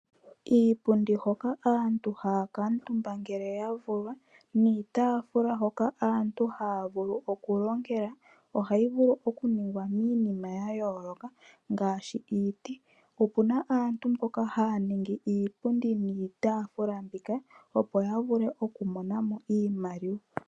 Iipundi hoka aantu haya kuutumba ngele yavulwa niitaafula hoka aantu haya vulu okulongela, ohayi vulu okuningwa miinima yayooloka ngaashi iiti. Opuna aantu mboka haya ningi iipundi niitafula mbika opo yavule okumonamo iimaliwa.